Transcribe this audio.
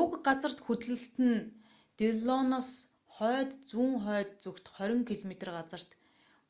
уг газар хөдлөлт нь диллоноос хойд-зүүн хойд зүгт 20 км 15 миль газарт